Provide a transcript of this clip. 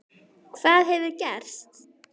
Hvað hefur gerst?